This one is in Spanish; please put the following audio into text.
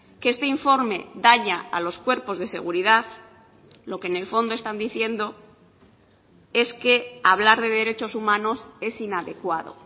que este informe daña a los cuerpos de seguridad lo que en el fondo están diciendo es que hablar de derechos humanos es inadecuado